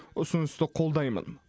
ұсынысты қолдаймын